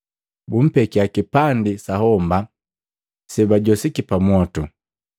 Bumpekia kipandi sa homba seababali pamwotu.